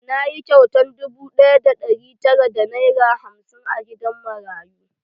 Na yi kyautar dubu ɗaya da ɗari tara da nera hamsin a gidan marayu.